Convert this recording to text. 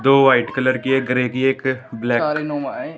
दो white colour है करेगी एक ब्लेक --